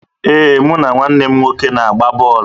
Ee, mụ na nwanne m nwoke na-agba bọọlụ